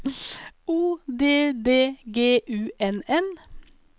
O D D G U N N